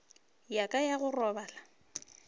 ya ka ya go robala